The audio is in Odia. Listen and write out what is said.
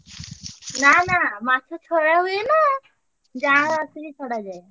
ନା ନା ମାଛ ଛଡା ହୁଏ ନା। ଜାଁଆଳା ଆସିକି ଛଡା ହୁଏ।